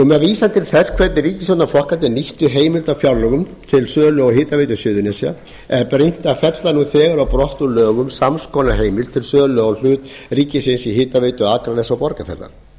með vísan til þess hvernig ríkisstjórnarflokkarnir nýttu heimild á fjárlögum til sölu hitaveitu suðurnesja er brýnt að fella nú þegar á brott úr lögum sams konar heimild til sölu á hlut ríkisins í hitaveitu akraness og borgarfjarðar